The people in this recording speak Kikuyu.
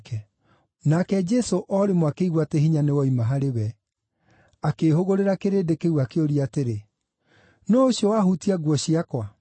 Nake Jesũ o rĩmwe akĩigua atĩ hinya nĩwoima harĩ we. Akĩĩhũgũrĩra kĩrĩndĩ kĩu akĩũria atĩrĩ, “Nũũ ũcio wahutia nguo ciakwa?”